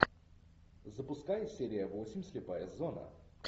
запускай серия восемь слепая зона